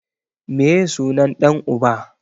Meye sunan ɗan uba?